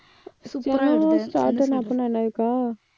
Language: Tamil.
steno வும் shorthand அப்படின்னா என்னக்கா